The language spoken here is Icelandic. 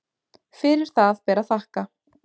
Fyrir það ber að þakka